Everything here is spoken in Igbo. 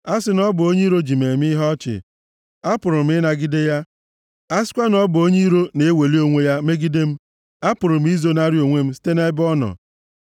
A sị na ọ bụ onye iro ji m eme ihe ọchị, apụrụ m ịnagide ya; a sịkwa na ọ bụ onye iro na-eweli onwe ya megide m, apụrụ m izonarị onwe m site nʼebe ọ nọ.